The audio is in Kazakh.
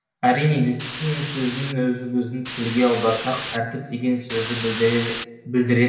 әрине дисциплина сөзінің өзі біздің тілге аударсақ тәртіп деген сөзді білдірер